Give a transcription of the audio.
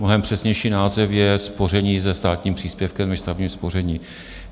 Mnohem přesnější název je spoření se státním příspěvkem, než stavební spoření.